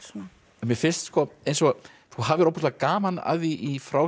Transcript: mér finnst eins og þú hafir ofboðslega gaman af því í frásögn